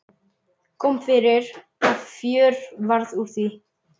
Kom fyrir að fjör varð úr því.